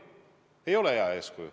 See ei ole hea eeskuju.